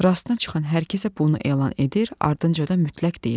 Rastına çıxan hər kəsə bunu elan edir, ardınca da mütləq deyirdi.